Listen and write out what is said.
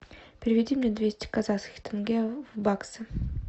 переведи мне двести казахских тенге в баксы